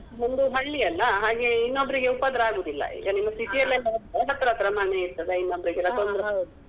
ನಮ್ದು ಹಳ್ಳಿ ಅಲ್ಲ ಹಾಗೆ ಇನ್ನೊಬ್ರಿಗೆ ಉಪದ್ರ ಆಗುದಿಲ್ಲ city ಅಲ್ಲಿ ಎಲ್ಲ ಹತ್ರ ಹತ್ರ ಮನೆ ಇರ್ತದೆ ಇನ್ನೊಬ್ರಿಗೆಲ್ಲ ತೊಂದ್ರೆ.